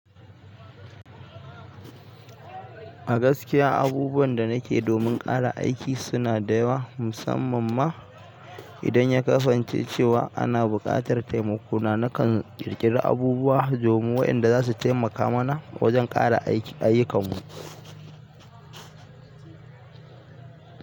A gaskiya abubuwan da nake domin ƙara aiki suna da yawa, musamman ma idan ya kasance cewa ana buƙatar taimako. Nakan ƙirƙira abubuwa domin waɗanda za su taimaka mana wajen ƙara ayyukanmu.